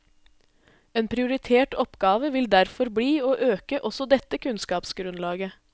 En prioritert oppgave vil derfor bli å øke også dette kunnskapsgrunnlaget.